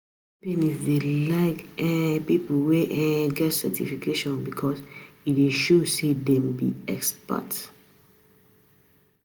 Companies dey like um people wey um get certification because e dey show say dem be experts.